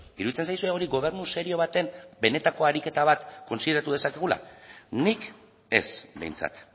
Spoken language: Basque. iruditzen zaizue hori gobernu serio baten benetako ariketa bat kontsideratu dezakegula nik ez behintzat